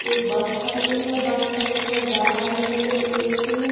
एक बस खड़ी है। बस में लिखो है बतानुकूलित ए.सी. --